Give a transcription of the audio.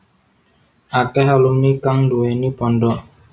Akèh alumni kang nduwèni pondhok